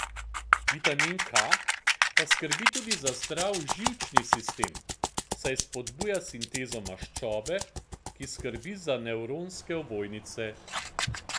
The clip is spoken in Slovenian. Vitamin K pa skrbi tudi za zdrav živčni sistem, saj spodbuja sintezo maščobe, ki skrbi za nevronske ovojnice.